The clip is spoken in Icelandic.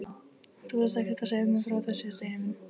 Þú varst ekkert að segja mér frá þessu, Steini minn!